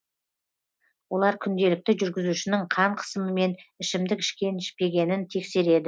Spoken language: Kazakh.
олар күнделікті жүргізушінің қан қысымы мен ішімдік ішкен ішпегенін тексереді